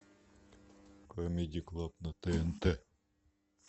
камеди клаб на тнт